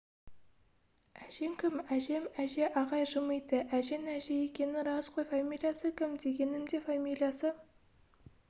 әжең кім әжем әже ағай жымиды әжең әже екені рас қой фамилиясы кім дегенім де фамилиясы